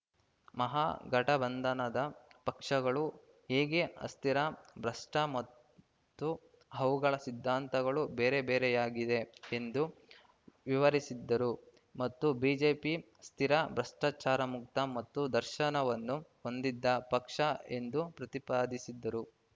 ಮಹಾಗಠಬಂಧನದ ಪಕ್ಷಗಳು ಹೇಗೆ ಅಸ್ಥಿರ ಭ್ರಷ್ಟಮತ್ತು ಅವುಗಳ ಸಿದ್ಧಾಂತಗಳು ಬೇರೆಬೇರೆಯಾಗಿವೆ ಎಂದು ವಿವರಿಸಿದ್ದರು ಮತ್ತು ಬಿಜೆಪಿ ಸ್ಥಿರ ಭ್ರಷ್ಟಾಚಾರಮುಕ್ತ ಮತ್ತು ದರ್ಶನವನ್ನು ಹೊಂದಿದ್ದ ಪಕ್ಷ ಎಂದು ಪ್ರತಿಪಾದಿಸಿದರು